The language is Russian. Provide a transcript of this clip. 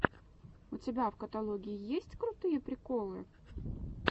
у тебя в каталоге есть крутые приколы